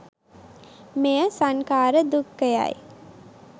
මෙය සන්ඛාර දුක්ඛයයි